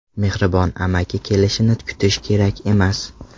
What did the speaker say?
Mehribon amaki kelishini kutish kerak emas.